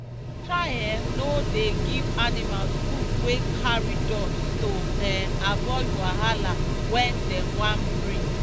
try um no dey give animals food wey carry dust to um avoid wahala wen dem wan breath